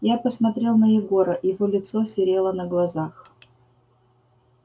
я посмотрел на егора его лицо серело на глазах